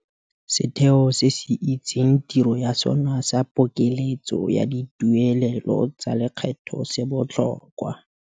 Setheo se se itseng tiro ya sona sa pokeletso ya dituelelo tsa lekgetho se botlhokwa.